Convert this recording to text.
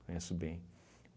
conheço bem.